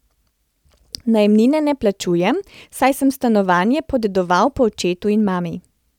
Najemnine ne plačujem, saj sem stanovanje podedoval po očetu in mami.